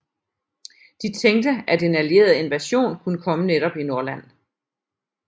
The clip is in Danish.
De tænkte at en alliereet invasion kunne komme netop i Nordland